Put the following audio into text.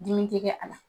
Dimi tɛ kɛ a la